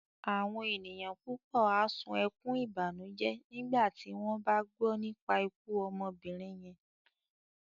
Àwọn ènìyàn púpọ̀ á sun ẹkún ìbànújẹ́ nígbà tí wọ́n bá gbọ́ nípa ikú obìnrin yẹn